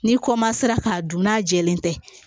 N'i k'a dun n'a jɛlen tɛ